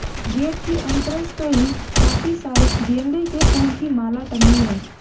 Gate के entrance पे ही काफी सारे गेंदे के फूल की माला टंगी है।